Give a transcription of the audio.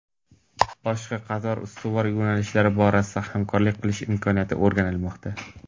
boshqa qator ustuvor yo‘nalishlar borasida hamkorlik qilish imkoniyatlari o‘rganilmoqda.